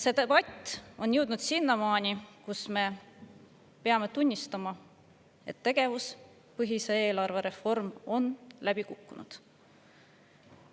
See debatt on jõudnud sinnamaani, kus me peame endale tunnistama, et tegevuspõhise eelarve reform on läbi kukkunud.